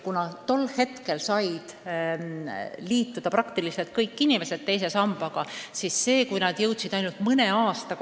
Tol ajal said teise sambaga liituda praktiliselt kõik inimesed ja paljud jõudsid sinna vara koguda ainult mõne aasta.